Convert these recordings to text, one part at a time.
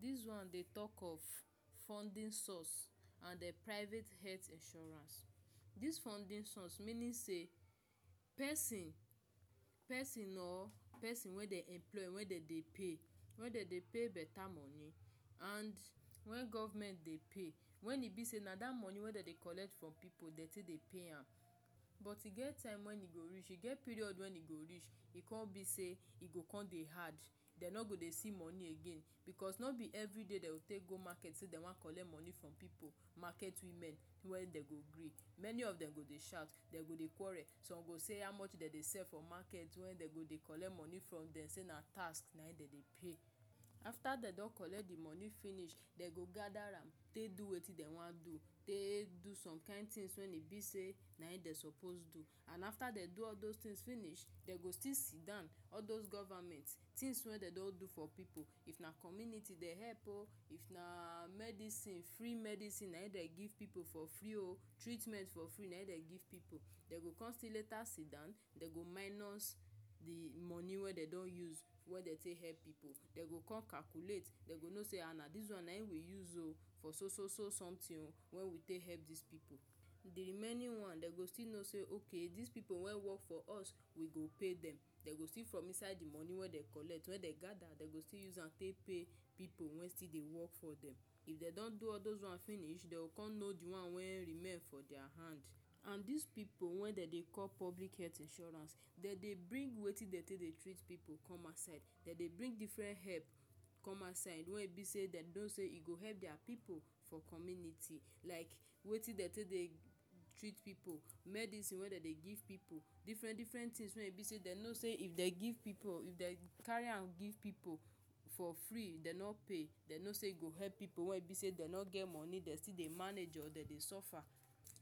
Dis one dey talk of funding source and e private health insurance. Dis funding source meaning say, pesin, pesin or pesin wey dey employ wey dem dey pay, .Wey dem dey pay better money — and when government dey pay, When e be sey na that money wen dem dey collect from pipu dem take dey pay am. But e get time wen e go reach e get period when e go reach — e go come be say e go come dey hard — dem no go see money again. Because no be every day dem go take go market say dem wan collect money from pipu. Market women wen dem go gree. Many of dem go dey shout, dem go dey quarrel. Some go say: “How much dem dey sell for market wey dem go dey collect money from dem? Sey na tax nayim dem dey pay” After dem don collect the money finish, dem go gather am take do wetin dem wan do — take do some kind things wen e be sey nayim dem suppose do. And after dem do all those things finish, dem go still sidon. All those govament things wen dem don do for pipu — if na community dem help oh, if na medicine free medicine nayim dem give pipu for free oh!, treatment for free nayim dem give pipu, Dem go still later si down, dem go minus the money wey dem don use wey dem take help pipu. Dem go come calculate dem go no sey: “um Na this one we use for so-so-so something wen we take help dis pipu.” The remaining one, dem go still no sey okay dis pipu wey work for us we go pay dem. Dem go steal from inside the money wey dem collect wen dem gather. Dem go still use am take pay pipu wen still dey work for dem. If dem do all those one finish, dem go come know the one wey remain for their hand. And dis pipu wey dem dey call public health insurance — Dem dey bring wetin dem take dey treat pipu come outside. Dem dey bring different help come outside wey e be sey dem know say e go help their pipu for community. Like: •Wetin dem take dey treat pipu medicine wey dem dey give pipu, • Different-different things wey e be sey dem know say if dem give pipu if dem carry am give pipu for free — dem no pay — dem no sey e go help pipu wey e be say dem no get moni dem still dey manage oh dem dey suffer.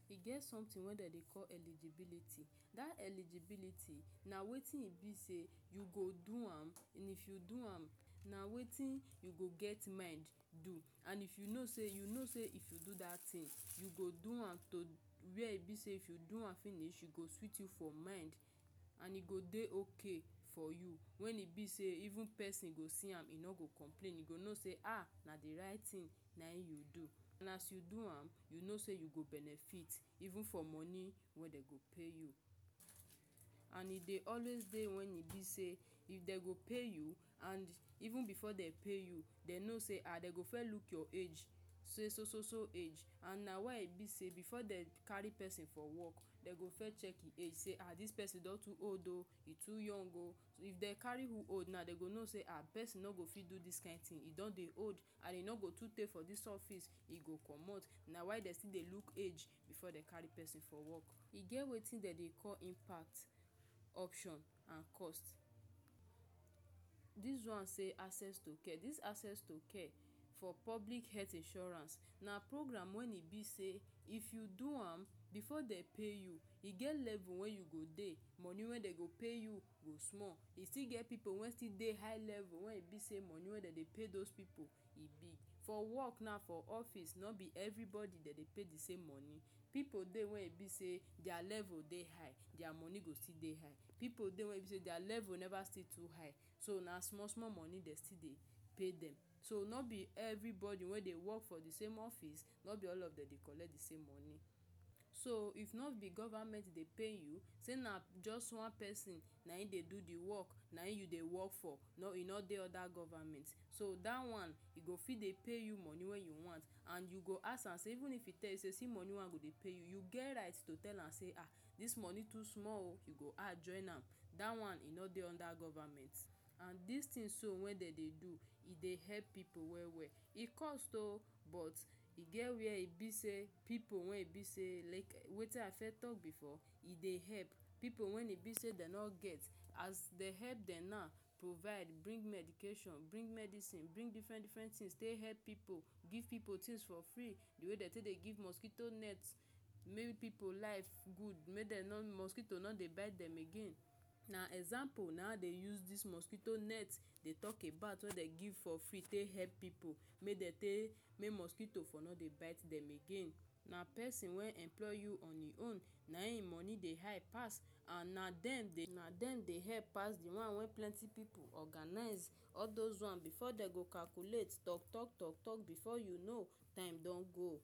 E get something wey dem dey call eligibility. Da eligibility na wetin e be say: • You go do am, • And if you do am, na wetin you go get mind do • And if you no say you no say if you do that thing you go do am to where e be say if you do am finish, e go sweet you for mind, • And e go dey okay for you. When e be sey even pesin go see am e no go complain. E go no say: “um Na di right thing nayim you do.” And as you do am, you no sey go benefit — even from money wey dem go pay you. And e dey always dey wen e be sey if dem go pay you and even before dem pay you dem no sey um dem go first look your age say so-so-so age an na why e be sey before dem carry pesin for work, dem go fir check him age say um: “This pesin don too old oh,”, “E too young oh.” If dem carry who old na, dem go know say um pesin no go fit do this kind tin — E don dey old and e no go too tay for dis office, e go comot. Na why dem still dey look age before dem carry pesin for work. E get wetin dem dey call impact, option, an cost. Dis one say: access to care — This access to care for public earth insurance na program wen e be say: • If you do am before dem pay you, • E get level wey you go dey, money wen dem go pay you go small. E still get pipu wen still dey high level wen e be sey money wey dem dey pay those pipu e big. For work now for office, no be everybody dem dey pay the same money. Pipu dey wey e be sey their level dey high — their money go still dey high. Pipu dey wen e be sey their level never still too high — so na small small money dem still dey pay dem. So no be everybody wey dey work for the same office no be all of dem dey collect the same monie. So oh if no be govament dey pay you sey na just one pesin nayim dey do di work nayim you dey work for e no e no dey under govament. So that one e go fit dey pay you money wey you want. And you go ask am sey even if e tell you sey see monie wey I go dey pay you, you get right to tell am sey “um Dis monie too small oh!” “you go add join am.” Dat one e no dey under govament. And these things so wen dem dey do e dey help pipu well well. E cost oh! But e get where e be say pipu where e be sey, like wetin I firs talk before, e dey help pipu wen e be sey dem no get, as dem help dem now provide, bring medication bring medicine, • Bring different-different things, tey help pipu, • Give pipu things for free, the way dem take give mosquito net, make pipu life good — make dem no mosquito no dey bite dem again — Na example nayim I dey use dis mosquito net dey talk about. Wey dem give for free to help pipu. Make dem take. Make mosquito no dey bite dem again. Na pesin wey employ you on him own — Na dem money dey high pass, And na dem dey na dem dey help pass the one wey plenty pipu organize. All those one before dem go still calculate, Talk talk talk — before you know, time don go.